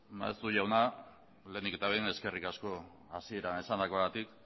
maeztu jauna lehenik eta behin eskerrik asko hasieran esandakoagatik